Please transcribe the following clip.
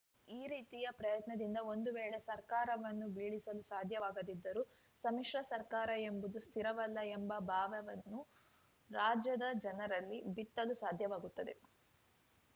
ಈ ರೀತಿಯ ಪ್ರಯತ್ನದಿಂದ ಒಂದು ವೇಳೆ ಸರ್ಕಾರವನ್ನು ಬೀಳಿಸಲು ಸಾಧ್ಯವಾಗದಿದ್ದರೂ ಸಮ್ಮಿಶ್ರ ಸರ್ಕಾರ ಎಂಬುದು ಸ್ಥಿರವಲ್ಲ ಎಂಬ ಭಾವವನ್ನು ರಾಜ್ಯದ ಜನರಲ್ಲಿ ಬಿತ್ತಲು ಸಾಧ್ಯವಾಗುತ್ತದೆ